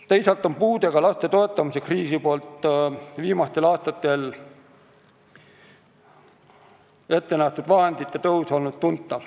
Teisalt on riik puudega laste toetamiseks viimastel aastatel ette näinud tuntava vahendite tõusu.